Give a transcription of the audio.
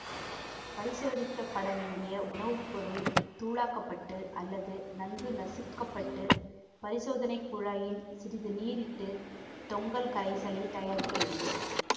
பரிசோதிக்கப்பட வேண்டிய உணவுப்பொருள் தூளாக்கப்பட்டு அல்லது நன்கு நசிக்கப்பட்டு பரிசோதனை குழாயில் சிறிதளவு நீரிட்டு தொங்கல் கரைசலை தயாரிக்க வேண்டும்